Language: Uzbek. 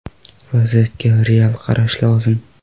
Vaziyatga real qarash lozim.